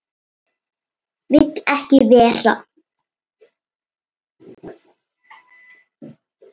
Vill ekki vera.